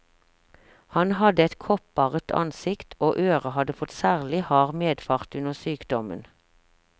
Han hadde et kopparret ansikt, og øret hadde fått særlig hard medfart under sykdommen.